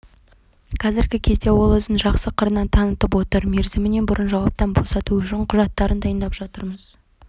қазіргі кезде ол өзін жақсы қырынан танытып отыр мерзімінен бұрын жауаптан босату үшін құжаттарын дайындап жатырмыз